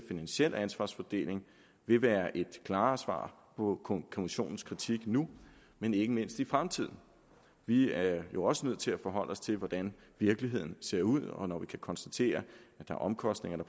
finansiel ansvarsfordeling vil være et klarere svar på kommissionens kritik nu men ikke mindst i fremtiden vi er jo også nødt til at forholde os til hvordan virkeligheden ser ud og når vi kan konstatere at omkostningerne